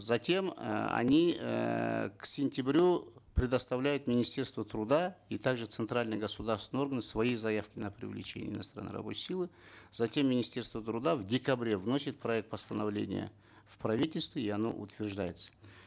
затем э они эээ к сентябрю предоставляют министерству труда и также э центральные государственные органы свои заявки на привлечение иностранной рабочей силы затем министерство труда в декабре вносит проект постановление в правительство и оно утверждается